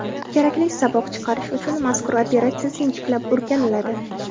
Kerakli saboq chiqarish uchun mazkur operatsiya sinchiklab o‘rganiladi.